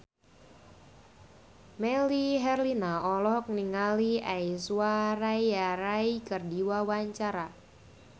Melly Herlina olohok ningali Aishwarya Rai keur diwawancara